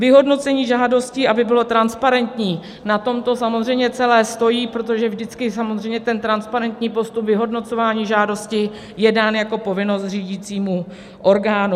Vyhodnocení žádostí, aby bylo transparentní, na tom to samozřejmě celé stojí, protože vždycky samozřejmě ten transparentní postup vyhodnocování žádosti je dán jako povinnost řídícímu orgánu.